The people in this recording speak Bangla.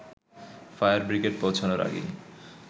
ফায়ার ব্রিগেড পৌঁছানোর আগেই